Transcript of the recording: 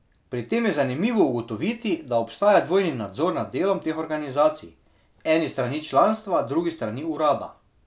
Pri tem je zanimivo ugotoviti, da obstaja dvojni nadzor nad delom teh organizacij, en s strani članstva, drug s strani urada.